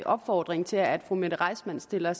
opfordring til at fru mette reissmann stiller